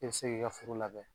I bi se k'i ka foro labɛn